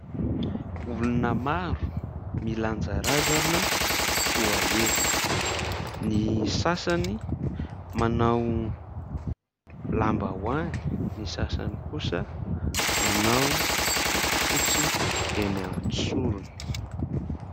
Olona maro milanja razana ho alevina, ny sasany manao lambahoany, ny sasany kosa manao bodofotsy eny an-tsorony.